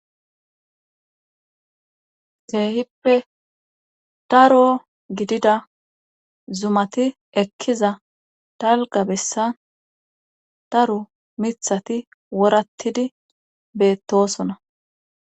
Keehippe daro gidida zumati ekkiza dalga bessan daro mithati worattidi beettosona